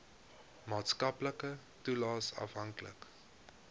maatskaplike toelaes afhanklik